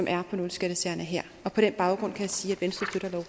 er på nul skattesagerne her og på den baggrund kan jeg sige